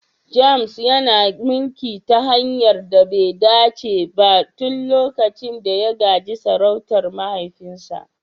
James yana mulki ta hanyar da be dace ba tun lokacin da ya gaji sarautar mahaifinsa.